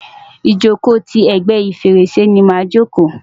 ìjòkó ti ègbé fèrèsé ni màa jòkó.